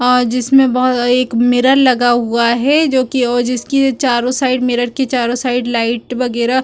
और जिसमे बोहो एक मिरर लगा हुआ है जोकि ओ जिसकी चारो साइड मिरर की चारो साइड लाइट वगेरा--